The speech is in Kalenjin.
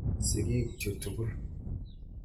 Sigik chu tukul.